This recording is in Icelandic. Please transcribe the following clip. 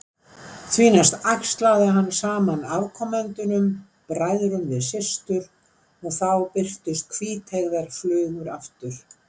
Því næst æxlaði hann saman afkomendunum, bræðrum við systur, og þá birtust hvíteygðar flugur aftur.